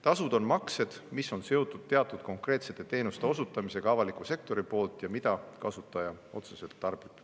Tasud on maksed, mis on seotud teatud konkreetsete teenuste osutamisega avaliku sektori poolt ja mida kasutaja otseselt tarbib.